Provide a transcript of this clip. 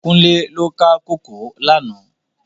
Kunle lò ká kókòó làná